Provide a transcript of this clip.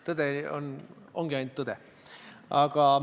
Tõde ongi ainult tõde.